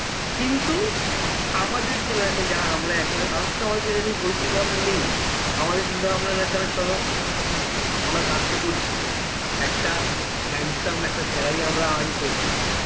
কিন্তু আমাদের generation যারা আমরা এখন তাদের তো আমাদের জানিস ওই চিন্তা ভাবনা নেই আমাদের চিন্তা ভাবনা না চল আমরা কাজ তো করছি একটা handsome একটা salary আমরা earn করছি